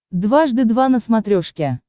дважды два на смотрешке